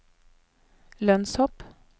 lønnshopp